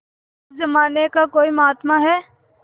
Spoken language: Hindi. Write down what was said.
उस जमाने का कोई महात्मा है